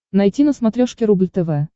найти на смотрешке рубль тв